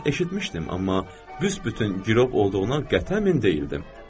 Mən eşitmişdim, amma büsbütün gürov olduğuna qətənmin deyildim.